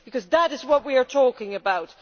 Because that is what we are talking about.